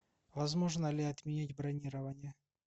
возможно ли отменить бронирование